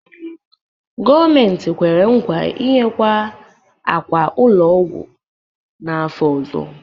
Gọọmentị kwere nkwa inyekwu ákwà ụlọ ọgwụ n'afọ ọzọ.